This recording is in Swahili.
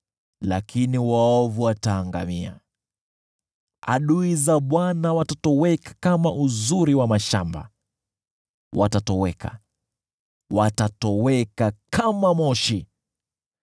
Lakini waovu wataangamia: Adui za Bwana watakuwa kama uzuri wa mashamba, watatoweka, watatoweka kama moshi.